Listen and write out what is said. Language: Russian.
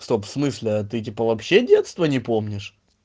в смысле а ты типа вообще детства не помнишь